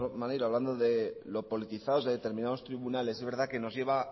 maneiro hablando de lo politizados de determinados tribunales es verdad que nos lleva